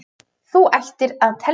Þú ættir að telja það.